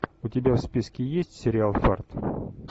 у тебя в списке есть сериал фарт